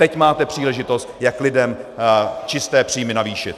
Teď máte příležitost, jak lidem čisté příjmy navýšit.